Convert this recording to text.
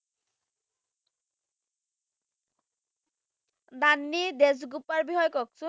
দান্নি দেজগোপাল বিষয়ে কওকচোন